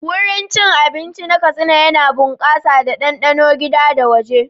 Wurin cin abinci na Katsina yana bunƙasa da ɗanɗanon gida da waje.